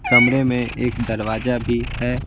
कमरे में एक दरवाजा भी है।